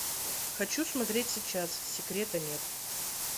хочу смотреть сейчас секрета нет